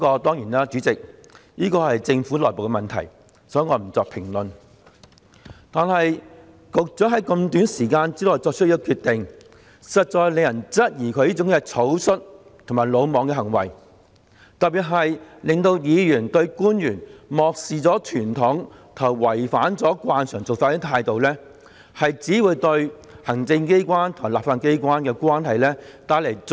當然，主席，這是政府內部的問題，所以，我不作評論，但局長在這麼短的時間內作出這決定，實在讓人質疑他這行為草率和魯莽，特別是令議員不滿官員漠視傳統的態度，以及違反慣常的做法，這只會進一步惡化行政機關和立法機關的關係。